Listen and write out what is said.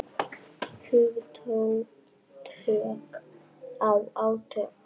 Hugtök og átök.